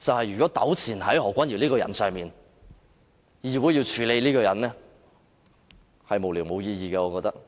如果糾纏在何君堯議員這個人身上，議會要處理這個人，我覺得是無聊，無意義的。